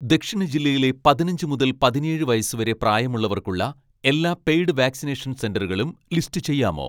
ദക്ഷിണ ജില്ലയിലെ പതിനഞ്ച് മുതൽ പതിനേഴ് വയസ്സ് വരെ പ്രായമുള്ളവർക്കുള്ള എല്ലാ പെയ്ഡ് വാക്‌സിനേഷൻ സെന്ററുകളും ലിസ്റ്റ് ചെയ്യാമോ